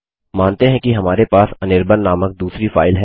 मानते हैं कि हमारे पास अनिर्बाण नामक दूसरी फाइल है